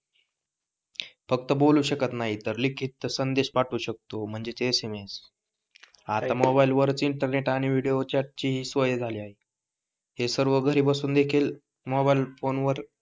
फक्त बोलू शकत नाही तर लिखित संदेश पाठवू शकतो म्हणजेच SMS आता मोबाईल वरच इंटरनेट आणि विडिओ चाट ची सोय झाली आहे हे सर्व घरी बसून देखील मोबाईल फोन वर